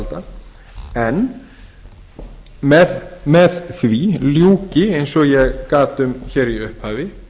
skattyfirvalda en með því ljúki eins og ég gat um hér í upphafi